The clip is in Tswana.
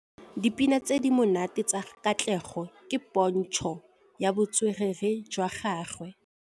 Dipina tse di monate tsa Katlego ke pôntshô ya botswerere jwa gagwe.